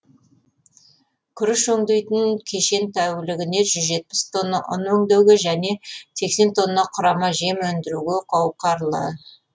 күріш өңдейтін кешен тәулігіне жүз жетпіс тонна ұн өңдеуге және сексен тонна құрама жем өндіруге қауқарлы